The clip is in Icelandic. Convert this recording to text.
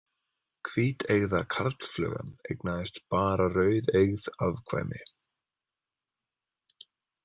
Hvíteygða karlflugan eignaðist bara rauðeygð afkvæmi.